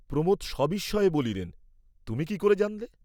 প্রমোদ সবিস্ময়ে বলিলেন, তুমি কি করে জানলে?